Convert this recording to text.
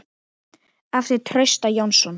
eftir Trausta Jónsson